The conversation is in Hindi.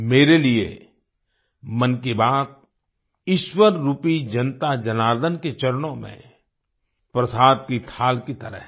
मेरे लिए मन की बात ईश्वर रूपी जनता जनार्दन के चरणों में प्रसाद की थाल की तरह है